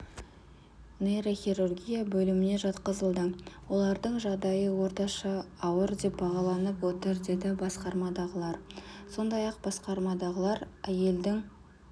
нейрохирургия бөліміне жатқызылды олардың жағдайы орташа ауыр деп бағаланып отыр деді басқармадағылар сондай-ақ басқармадағылар әйелдің